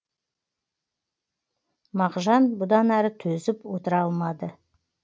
мағжан бұдан әрі төзіп отыра алмады